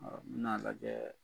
n bena lajɛɛ